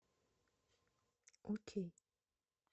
окей